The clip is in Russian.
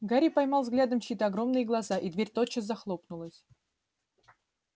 гарри поймал взглядом чьи-то огромные глаза и дверь тотчас захлопнулась